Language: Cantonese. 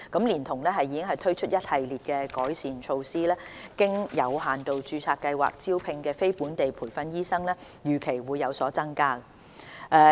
連同已推出的一系列改善措施，經有限度註冊計劃招聘的非本地培訓醫生預期會有所增加。